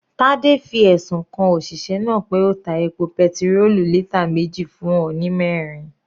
Tade fi ẹ̀sùn kan òṣìṣẹ́ náà pé ó ta epo petirólù lítà meji fún òun ní mẹrin.